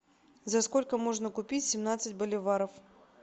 за сколько можно купить семнадцать боливаров